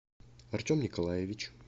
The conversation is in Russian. артем николаевич